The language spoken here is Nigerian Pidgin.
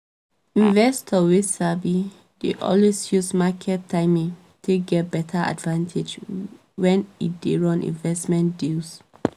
investor wey sabi dey always use market timing take get beta advantage when e dey run investmnt deals